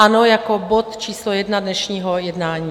Ano, jako bod číslo 1 dnešního jednání.